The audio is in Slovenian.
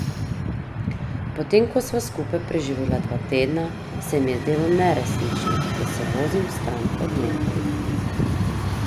Potem ko sva skupaj preživela dva tedna, se mi je zdelo neresnično, da se vozim stran od njega.